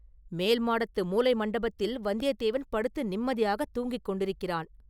“மேல்மாடத்து மூலை மண்டபத்தில் வந்தியத்தேவன் படுத்து நிம்மதியாகத் தூங்கிக் கொண்டிருக்கிறான்.